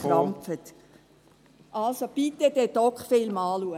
Also, schauen Sie sich bitte diesen «Dok»-Film an.